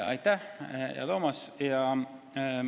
Aitäh, hea Toomas!